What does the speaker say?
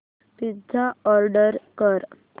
pizza order कर